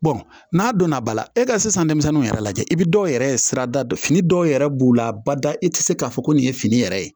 n'a donna ba la e ka sisan denmisɛnninw yɛrɛ lajɛ i bi dɔw yɛrɛ sira da fini dɔw yɛrɛ b'u la bada i te se k'a fɔ ko nin ye fini yɛrɛ ye